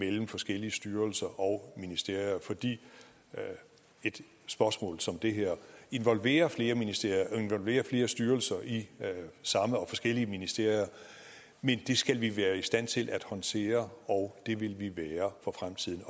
imellem forskellige styrelser og ministerier fordi et spørgsmål som det her involverer flere ministerier og involverer flere styrelser i samme og forskellige ministerier men det skal vi være i stand til at håndtere og det vil vi være for fremtiden